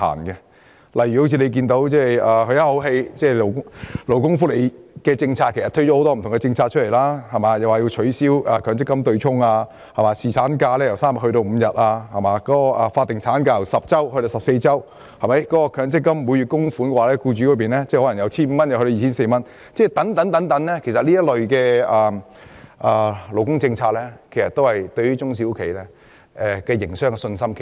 舉例來說，政府推出的多項勞工福利政策，包括取消強制性公積金對沖、侍產假由3天增至5天、法定產假由10周增至14周、強積金僱主供款由每月 1,500 元增至 2,400 元等，都減低了中小企的營商信心。